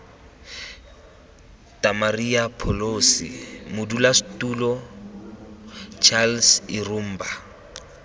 damaria pholosi modulasetulo charles irumba